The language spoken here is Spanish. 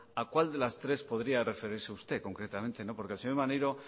a cuál de las tres podría referirse usted concretamente porque el señor maneiro